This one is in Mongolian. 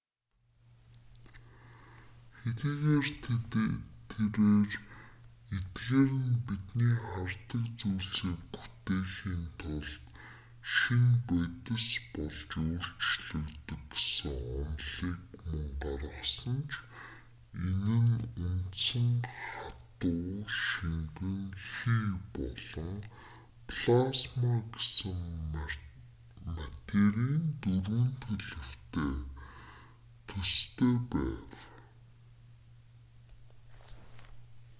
хэдийгээр тэрээр эдгээр нь бидний хардаг зүйлсийг бүтээхийн тулд шинэ бодис болж өөрчлөгддөг гэсэн онолыг мөн гаргасан ч энэ нь үндсэн хатуу шингэн хий болон плазма гэсэн материйн дөрвөн төлөвтэй ижил дарааллаар төстэй байв